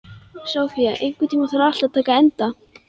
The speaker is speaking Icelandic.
Sofía, einhvern tímann þarf allt að taka enda.